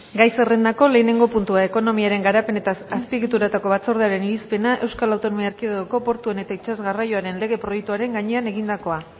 gai zerrendako lehenengo puntua ekonomiaren garapen eta azpiegitura batzordearen irizpena euskal autonomia erkidegoko portuen eta itsas garraioaren lege proiektuaren gainean egindakoa